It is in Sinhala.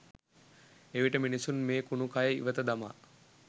එවිට මිනිසුන් මේ කුණු කය ඉවත දමා